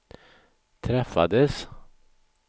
träffades